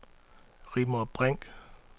Rigmor Brink